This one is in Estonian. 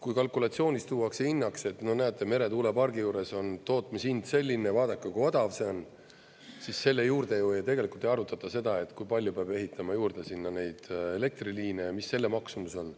Kui kalkulatsioonis tuuakse hinnaks, et no näete, meretuulepargi juures on tootmishind selline, vaadake, kui odav see on, siis selle juurde ju tegelikult ei arutata seda, kui palju peab ehitama juurde sinna neid elektriliine ja mis selle maksumus on.